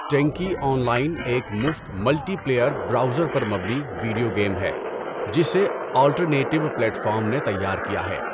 ٹینکی online ایک مفت multiplayer, browser پر مبنی، ویڈیو گیم ہے جسے آلٹرنیٹیوا پلیٹفارم نے تیار کیا ہے۔